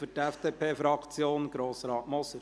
Für die FDP-Fraktion: Grossrat Moser.